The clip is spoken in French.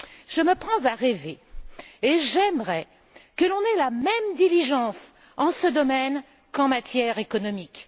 Je me prends à rêver, et j'aimerais que l'on ait la même diligence en ce domaine qu'en matière économique.